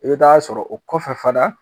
I t'be t'a sɔrɔ o kɔfɛ fana